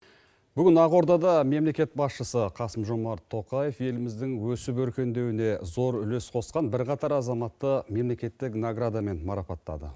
бүгін ақордада мемлекет басшысы қасым жомарт тоқаев еліміздің өсіп өркендеуіне зол үлес қосқан бірқатар азаматты мемлекеттік наградамен марапаттады